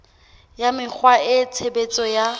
ya mekgwa le tshebetso tsa